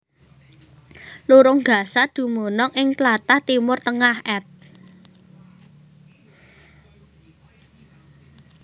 Lurung Gaza dumunung ing tlatah Timur Tengah at